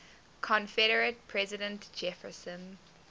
confederate president jefferson